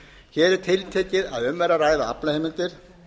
hér er tiltekið að um er að ræða aflaheimildir